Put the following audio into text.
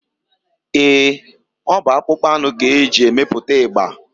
Eé, ọ bụ akpụkpọ anụ ka e ji emepụta ịgba.